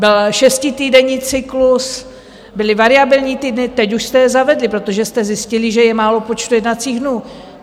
Byl šestitýdenní cyklus, byly variabilní týdny - teď už jste je zavedli, protože jste zjistili, že je málo počtu jednacích dnů.